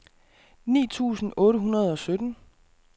ni tusind otte hundrede og sytten